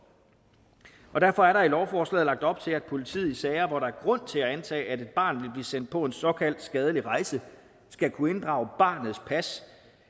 derfor er der i lovforslaget lagt op til at politiet i sager hvor der er grund til at antage at et barn vil blive sendt på en såkaldt skadelig rejse skal kunne inddrage barnets pas